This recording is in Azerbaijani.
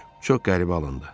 Çox qəribə alındı.